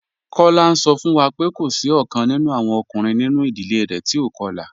Kola n sọ fun wa pé kò sí ọ̀kan nínú awọn ọkùnrin nínú idílé rẹ̀ tí o kọ̀la.